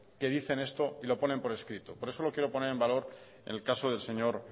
que dicen esto y lo ponen por escrito por eso lo quiero poner en valor en el caso del señor